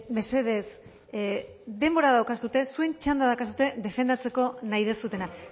mesedez denbora daukazue zuen txanda daukazu defendatzeko nahi duzuena